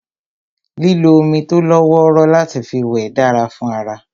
Lílo omi tó lọ́wọ́rọ́ láti fi wẹ̀ dára fún ara